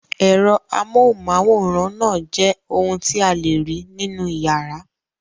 Ẹ̀rọ amóhùmáwòhán náà jẹ́ ohun tí a lè rí nínú ìyàrá.